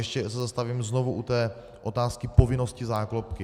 Ještě se zastavím znovu u té otázky povinnosti záklopky.